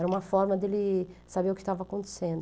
Era uma forma dele saber o que estava acontecendo.